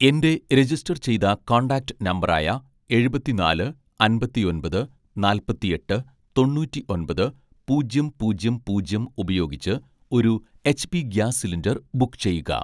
എൻ്റെ രജിസ്റ്റർ ചെയ്ത contact number ആയ എഴുപത്തിനാല് അമ്പത്തിഒന്‍പത് നാല്‍പത്തിഎട്ട് തൊണ്ണൂറ്റിഒന്‍പത് പൂജ്യം പൂജ്യം പൂജ്യം ഉപയോഗിച്ച് ഒരു എച്ച്പി ഗ്യാസ് സിലിണ്ടർ ബുക്ക് ചെയ്യുക